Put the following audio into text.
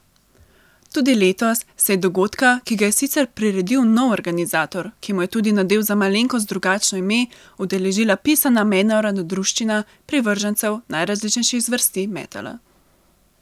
Tudi letos se je dogodka, ki ga je sicer priredil nov organizator, ki mu je tudi nadel za malenkost drugačno ime, udeležila pisana mednarodna druščina privržencev najrazličnejših zvrsti metala.